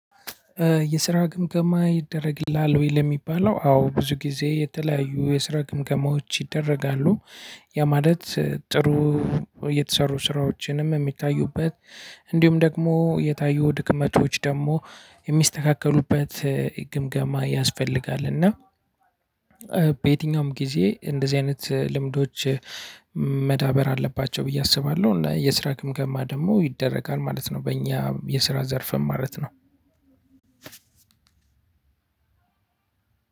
የስራ ግምገማ ይደረግልሀል ወይ ለሚባለው አዎ ብዙ ጊዜ የተለያዩ የስራ ግምገማዎች ይደረጋሉ። ያ ማለት ጥሩ የተሰሩ ስራዎችንም የሚታዩበት እንዲሁም ደግሞ የታዩ ድክመቶች ደግሞ የሚስተካከሉበት ግምገማ ያስፈልጋል። እና በየትኛውም ጊዜ እንደዚህ አይነት ልምዶች መዳበር አለባቸው ብዬ አስባለሁ። እና የስራ ግምገማ ደግሞ ይደረጋል ማለት ነው። በእኛ የስራ ዘርፍም ማለት ነው።